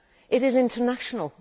it is international.